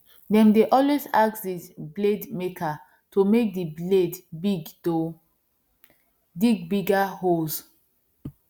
them dey always ask the blade maker to make the blade big to dig bigger holes